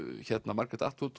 Margaret